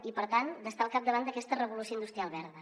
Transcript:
i per tant d’estar al capdavant d’aquesta revolució industrial verda